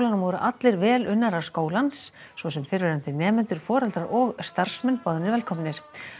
voru allir velunnarar skólans svo sem fyrrverandi nemendur foreldrar og starfsmenn boðnir velkomnir